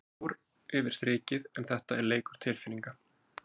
Maður fór yfir strikið en þetta er leikur tilfinninga.